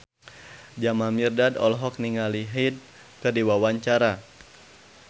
Jamal Mirdad olohok ningali Hyde keur diwawancara